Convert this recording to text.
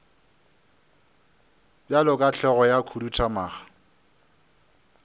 bjalo ka hlogo ya khuduthamaga